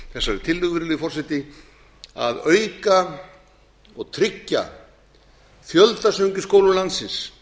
þessari tillögu virðulegi forseti að auka og tryggja fjöldasöng i skólum landsins